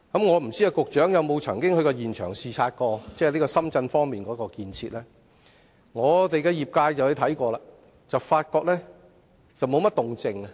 "我不知道局長曾否到深圳現場視察當地的建設，但我所屬的航運交通界在視察後，卻發覺沒有甚麼動靜，